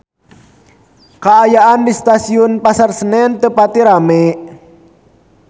Kaayaan di Stasiun Pasar Senen teu pati rame